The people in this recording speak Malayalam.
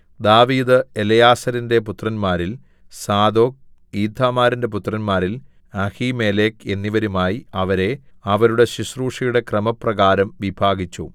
ദാവീദ് എലെയാസാരിന്റെ പുത്രന്മാരിൽ സാദോക് ഈഥാമാരിന്റെ പുത്രന്മാരിൽ അഹീമേലെക്ക് എന്നിവരുമായി അവരെ അവരുടെ ശുശ്രൂഷയുടെ ക്രമപ്രകാരം വിഭാഗിച്ചു